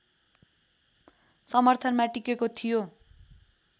समर्थनमा टिकेको थियो